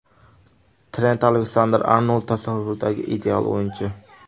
Trent Aleksander-Arnold tasavvuridagi ideal o‘yinchi.